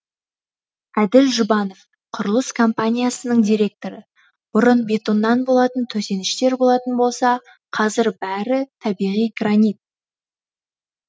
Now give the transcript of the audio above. әділ жұбанов құрылыс компаниясының директоры бұрын бетоннан болатын төсеніштер болатын болса қазір бәрі табиғи гранит